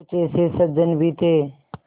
कुछ ऐसे सज्जन भी थे